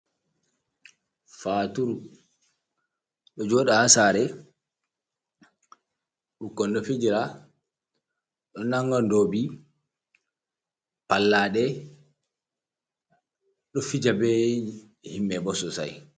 faturu: Do jooda hasaare, 6ukkon do fijira, do nanga doobi, pallaade, do fija be himbe bo sossai.